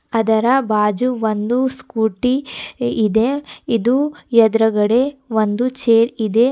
ಅದರ ಬಾಜು ಒಂದು ಸ್ಕೂಟಿ ಇದೆ ಇದು ಎದ್ರುಗಡೆ ಒಂದು ಚೇರ್ ಇದೆ.